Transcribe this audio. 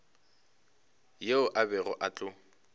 yeo a bego a tlo